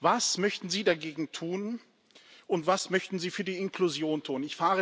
Was möchten Sie dagegen tun, und was möchten Sie für die Inklusion tun?